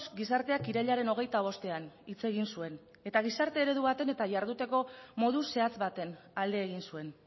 gizarteak irailaren hogeita bostean hitz egin zuen eta gizarte eredu baten eta jarduteko modu zehatz baten alde egin zuen